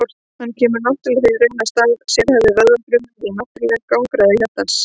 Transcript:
hann kemur því í raun í stað sérhæfðu vöðvafrumanna í náttúrlegum gangráði hjartans